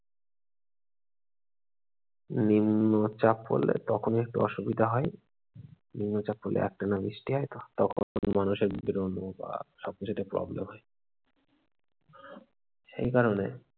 নিম্নচাপ পড়লে তখন একটু অসুবিধা হয়, নিম্নচাপ পড়লে একটানা বৃষ্টি হয় তখন মানুষের বেরোনো বা সবকিছুতে problem হয় সেই কারণে